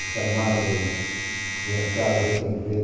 O chamado, minha casa, hoje tem em frente